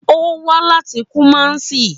Ó wá láti Kumasi